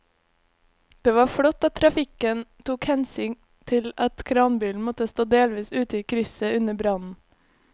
Det var flott at trafikken tok hensyn til at kranbilen måtte stå delvis ute i krysset under brannen.